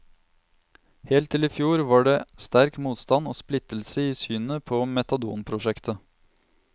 Helt til i fjor var det sterk motstand og splittelse i synet på metadonprosjektet.